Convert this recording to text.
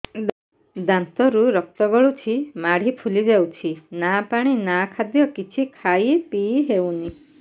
ଦାନ୍ତ ରୁ ରକ୍ତ ଗଳୁଛି ମାଢି ଫୁଲି ଯାଉଛି ନା ପାଣି ନା ଖାଦ୍ୟ କିଛି ଖାଇ ପିଇ ହେଉନି